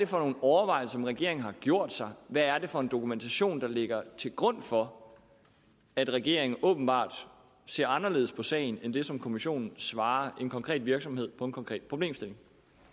for nogle overvejelser regeringen har gjort sig hvad er det for en dokumentation der ligger til grund for at regeringen åbenbart ser anderledes på sagen end det som kommissionen svarer en konkret virksomhed på en konkret problemstilling